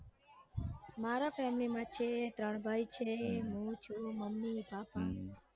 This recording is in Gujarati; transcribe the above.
family માં છે ત્રણ ભાઈ છે હું છું મમ્મી પપા.